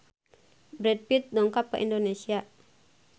Brad Pitt dongkap ka Indonesia